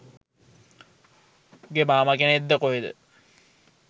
උගේ මාමා කෙනෙක්ද කොහෙද